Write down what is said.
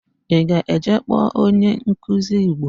Ị ga-eje ịkpọ onyenkuzi Igbo?